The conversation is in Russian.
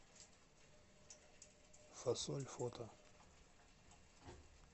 фасоль фото